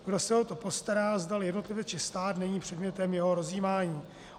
Kdo se o to postará, zdali jednotlivec či stát, není předmětem jeho rozjímání.